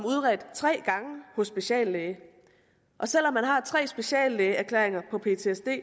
udredt tre gange hos speciallæge og selv om han har tre speciallægeerklæringer på ptsd